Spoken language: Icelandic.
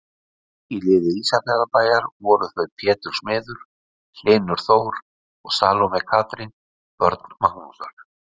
Í liði Ísafjarðarbæjar voru þau Pétur smiður, Hlynur Þór og Salóme Katrín, börn Magnúsar.